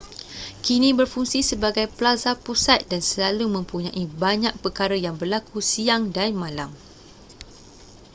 kini berfungsi sebagai plaza pusat dan selalu mempunyai banyak perkara yang berlaku siang dan malam